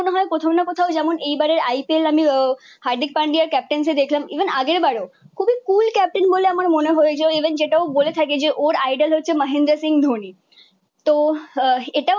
কোথাও যেমন এবারের IPL আমি আহ হার্দিক পান্ডিয়ার ক্যাপ্টেন্সি দেখলাম ইভেন আগের বারও তুমি Cool captain বলে আমার মনে হয়েছে। ইভেন যেটা ও বলে থাকে যে, ওর আইডল হচ্ছে মাহেন্দ্রা সিং ধোনি।